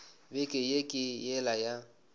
beke ye ke yela ya